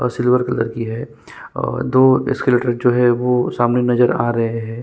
और silver colour की है और दो एस्कालेटर जो है वो सामने नजर आ रहै हैं।